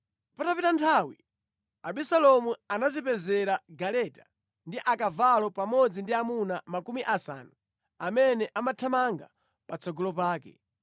Patapita nthawi, Abisalomu anadzipezera galeta ndi akavalo pamodzi ndi amuna makumi asanu amene amathamanga patsogolo pake.